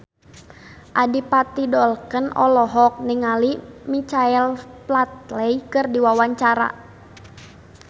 Adipati Dolken olohok ningali Michael Flatley keur diwawancara